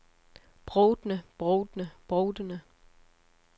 brovtende brovtende brovtende